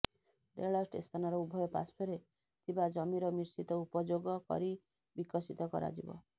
ରେଳ ଷ୍ଟେସନର ଉଭୟ ପାଶ୍ୱର୍ରେ ଥିବା ଜମିର ମିଶ୍ରିତ ଉପଯୋଗ କରି ବିକଶିତ କରାଯିବ